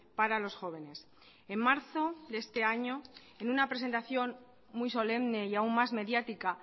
para los jóvenes en marzo de este año en una presentación muy solemne y aún más mediática